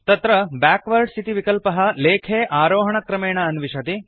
तत्र बैकवार्ड्स् इति विकल्पः लेखे आरोहणक्रमेण अन्विषति